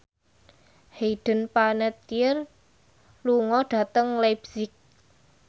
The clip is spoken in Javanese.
Hayden Panettiere lunga dhateng leipzig